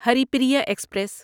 Haripriya express